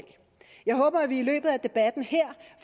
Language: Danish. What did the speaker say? jeg håber at vi i løbet af debatten her